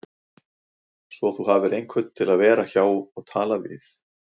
Svo þú hafir einhvern til að vera hjá og tala við